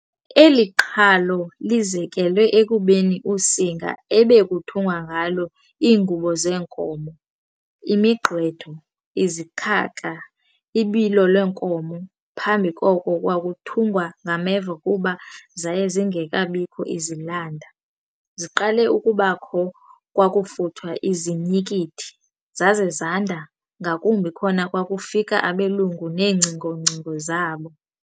Eli qhalo lizekelwe ekubeni usinga ebekuthungwa ngalo iingubo zeenkomo, imigqwetho, izikhaka, ibilolwenkomo- Phambi koko kwakuthungwa ngameva, kuba zaye zingekabikho izilanda, ziqale ukubakho kwakufuthwa izinyikithi, zaze zanda ngakumbi khona kwakufika abelungu neengcingongcingo zabo.